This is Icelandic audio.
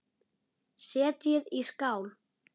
Setjið í skál.